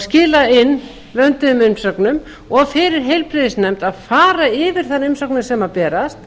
skila inn vönduðum umsögnum og fyrir heilbrigðisnefnd að fara yfir þær umsóknir sem berast